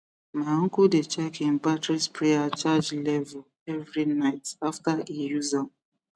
my uncle dey check hin battery sprayer charge level every night after e use am